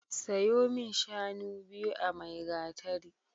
Sayo min shanu biyu a Maigatari.